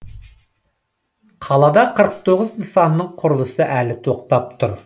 қалада қырық тоғыз нысанның құрылысы әлі тоқтап тұр